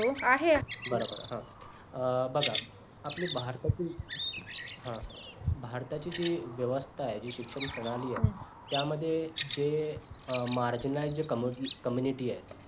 बरं बरं हां बघा आपली भारतातुन हा भारताची जी व्यवस्था आहे जी शिक्षण प्रणाली आहे त्यामध्ये जे marjina जी community आहे